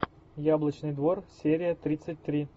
яблочный двор серия тридцать три